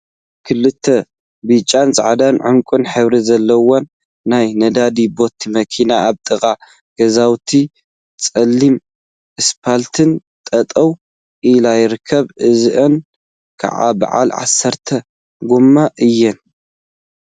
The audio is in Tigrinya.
ክልተ ብጫ፣ ፃዕዳን ዕንቋን ሕብሪ ዘለወን ናይ ነዳዲ ቦቲ መኪና አብ ጥቃ ገዛውቲ ፀሊም እስፓልት ጠጠው ኢለን ይርከባ፡፡ እዚአን ከዓ በዓል 10 ጎማ እየን፡፡